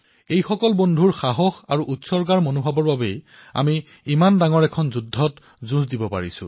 আপোনালোকৰ দৰে অনেক সতীৰ্থৰ উৎসাহৰ ফলতেই আজি আমি ইমান বৃহৎ যুদ্ধৰ মুখামুখি হব পাৰিছো